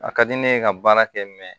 A ka di ne ye ka baara kɛ mɛ